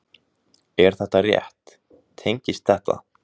Er þetta rétt, tengist þetta?